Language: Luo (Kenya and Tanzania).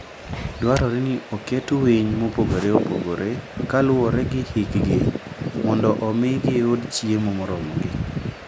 Dwarore ni oket winy mopogore opogore kaluwore gi hikgi mondo omi giyud chiemo moromogi.